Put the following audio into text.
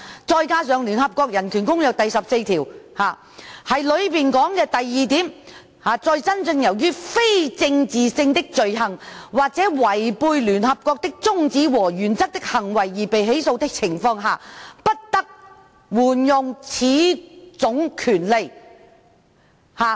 再加上聯合國《世界人權宣言》第十四條二指出，"在真正由於非政治性的罪行或違背聯合國的宗旨和原則的行為而被起訴的情況下，不得援用此種權利。